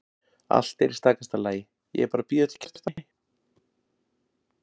Allt er í stakasta lagi, ég er bara að bíða eftir Kjartani.